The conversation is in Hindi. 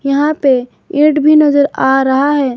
यहां पे ऐड भी नजर आ रहा है।